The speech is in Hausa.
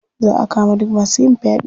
Za a kama duk masu yin faɗe.